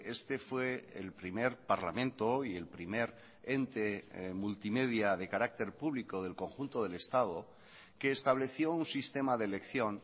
este fue el primer parlamento y el primer ente multimedia de carácter público del conjunto del estado que estableció un sistema de elección